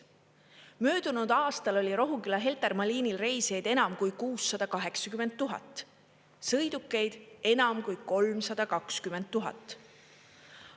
Möödunud aastal oli Rohuküla-Heltermaa liinil reisijaid enam kui 680 000, sõidukeid enam kui 320 000.